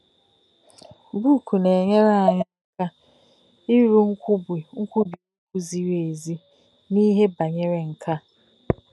Bùkù̄ nā-è̄nyéré̄ ànyí̄ áká̄ írú̄ nkwú̄bì̄ òkwù̄ zìrì̄ èzì̄ n’íhè bá̄nyèrè̄ nkè̄ à.